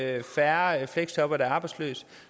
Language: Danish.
er færre fleksjobbere der er arbejdsløse